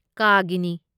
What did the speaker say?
ꯀꯥꯒꯤꯅꯤ